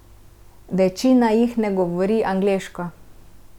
Večina jih ne govori angleško.